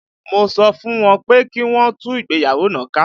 Mo sọ fún wọn pé kí wọn ó tú ìgbéyàwó náà ká